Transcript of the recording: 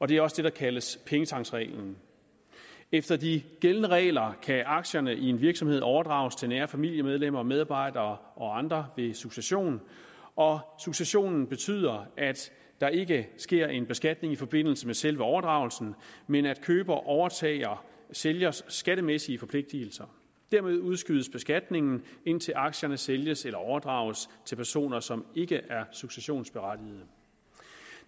det er også det der kaldes pengetanksreglen efter de gældende regler kan aktierne i en virksomhed overdrages til nære familiemedlemmer medarbejdere og andre ved succession og successionen betyder at der ikke sker en beskatning i forbindelse med selve overdragelsen men at køber overtager sælgers skattemæssige forpligtelser dermed udskydes beskatningen indtil aktierne sælges eller overdrages til personer som ikke er successionsberettigede